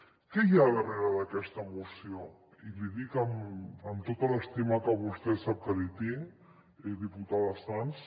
què hi ha darrere d’aquesta moció i li dic amb tota l’estima que vostè sap que li tinc diputada sans